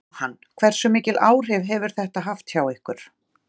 Jóhann: Hversu mikil áhrif hefur þetta haft hjá ykkur?